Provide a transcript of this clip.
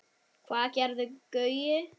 Hvað gerði Gaui?